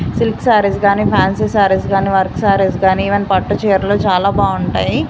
Silk saris గాని fancy saris గాని work saris గాని ఈవెన్ పట్టు చీరలు చాలా బాగుంటాయి.